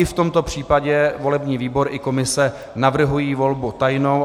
I v tomto případě volební výbor i komise navrhují volbu tajnou.